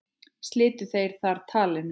Slitu þeir þar talinu.